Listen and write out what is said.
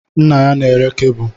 Nne ya na-ere kebụl